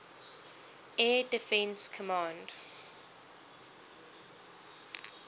air defense command